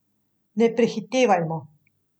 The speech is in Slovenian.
Ne prehitevajmo.